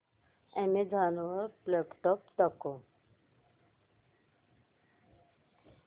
Amazon वर laptops दाखव